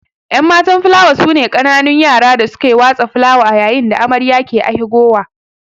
Enmatan filawa sune kananun yara da suke watsa filawa ayayin da amarya ke ahigowa